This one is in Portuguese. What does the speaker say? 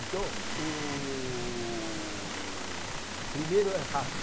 Então, o primeiro é rato.